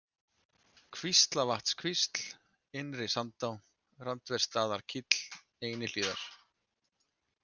Kvíslavatnskvísl, Innri-Sandá, Randversstaðakíll, Einihlíðar